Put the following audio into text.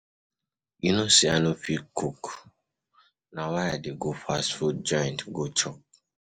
You no say I no fit cook, na why I dey go fast food joint go chop